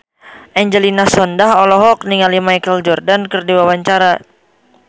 Angelina Sondakh olohok ningali Michael Jordan keur diwawancara